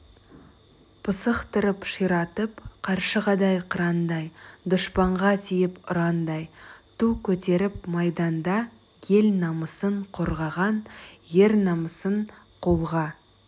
пысықтырып ширатып қаршығадай қырандай дұшпанға тиіп ұрандай ту көтеріп майданда ел намысын қорғаған ер намысын қолға